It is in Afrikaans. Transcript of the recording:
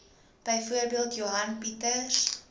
byvoorbeeld johan pieters